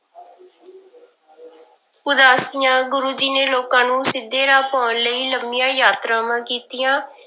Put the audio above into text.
ਉਦਾਸੀਆਂ ਗੁਰੂ ਜੀ ਨੇ ਲੋਕਾਂ ਨੂੰ ਸਿੱਧੇ ਰਾਹ ਪਾਉਣ ਲਈ ਲੰਮੀਆਂ ਯਾਤਰਾਵਾਂ ਕੀਤੀਆਂ,